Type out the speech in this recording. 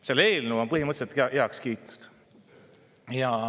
See eelnõu on põhimõtteliselt heaks kiidetud.